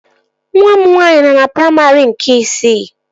Nwa m nwaanyị nọ na praimarị nke isii